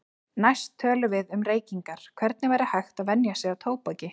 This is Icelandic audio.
Næst tölum við um reykingar, hvernig væri hægt að venja sig af tóbaki.